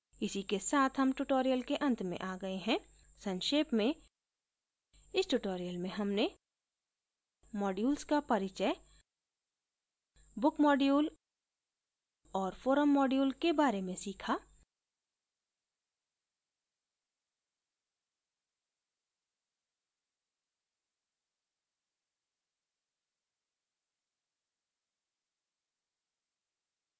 इसी के साथ हम tutorial के अंत में आ गए हैं संक्षेप में इस tutorial में हमने modules का परिचय book module और forum module के बारे में सीखा